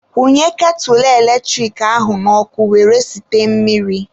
Kwunye ketụlụ eletrik ahụ n'ọkụ were site mmiri.